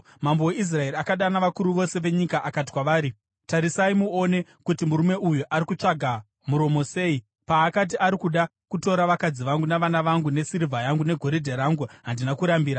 Mambo weIsraeri akadana vakuru vose venyika akati kwavari, “Tarisai muone kuti murume uyu ari kutsvaga muromo sei! Paakati ari kuda kutora vakadzi vangu navana vangu, nesirivha yangu negoridhe rangu, handina kurambira.”